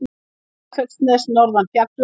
Snæfellsnes norðan fjalla.